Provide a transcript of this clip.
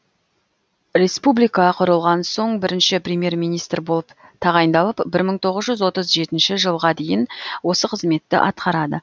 республика құрылған соң бірінші премьер министр болып тағайындалып бір мың тоғыз жүз отыз жетінші жылға дейін осы қызметті атқарады